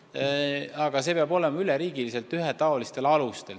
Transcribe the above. Aga see protsess peab toimuma üle riigi ühetaolisel alusel.